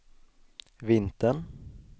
vintern